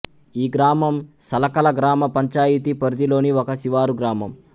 ఈ గ్రామం సలకల గ్రామ పంచాయతీ పరిధిలోని ఒక శివారు గ్రామం